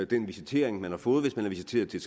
den visitering man har fået hvis man er visiteret til